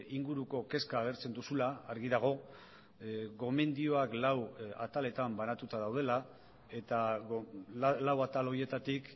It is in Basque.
inguruko kezka agertzen duzula argi dago gomendioak lau ataletan banatuta daudela eta lau atal horietatik